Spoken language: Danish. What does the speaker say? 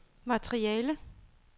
materiale